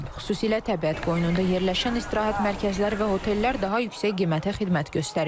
Xüsusilə təbiət qoynunda yerləşən istirahət mərkəzləri və otellər daha yüksək qiymətə xidmət göstərir.